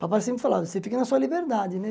Papai sempre falava, você fica na sua liberdade, né?